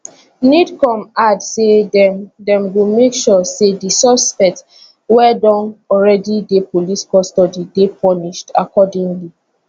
nidcom add say dem dem go make sure say di suspect wey don already dey police custody dey punished accordingly